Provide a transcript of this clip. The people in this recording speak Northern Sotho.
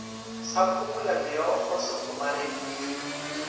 sa phumula meokgo se kgomareditšwe